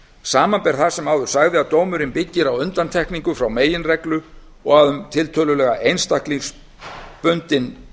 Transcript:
samanber það sem áður sagði að dómurinn byggir á undantekningu frá meginreglu og að um